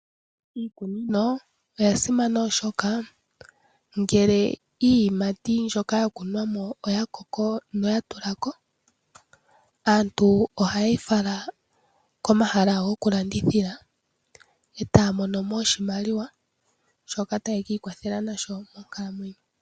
Iikunino oyasimana oshoka ngele iiyimati mbyoka yakunwa mo oyakoko noyatula ko aantu ohaye yi fala komahala gokulandithila eta ya mono mo oshimaliwa shoka ta ye kiikwatha nasho.